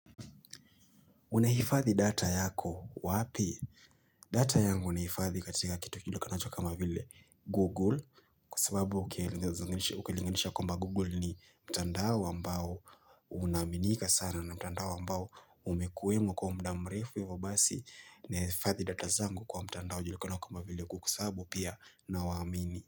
Unahifadhi data yako wapi? Data yangu nehifadhi katika kitu jilikanacho kama vile Google kwasababu ukilinganisha kwamba Google ni mtandao ambao unaaminika sana na mtandao ambao umekuwemo kwa muda mrefu hivo basi nehifadhi data zangu kwa mtandao jilikanacho kama vile ku kwasabubu pia na waamini.